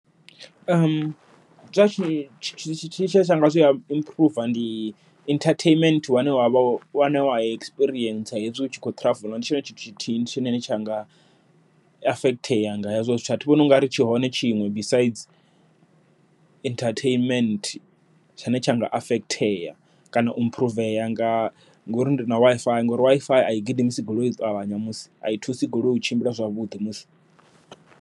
Zwa tshi tsha nga zwi improve ndi entertainment wane wa vha wane wa experience hezwi utshi kho ndi tshone tshithu tshithihi tshine tshanga affect tea nga hezwo zwithu, athivhoni unga ri tshihone tshiṅwe besides entertainment. Tshane tsha nga affect ea kana u improve a nga ngori ndi na WiFi ngori WiFi a i gidimisi goloi u ṱavhanya musi, a i thusi goloi u tshimbila zwavhuḓi musi.